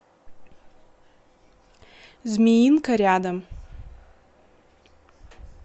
змеинка рядом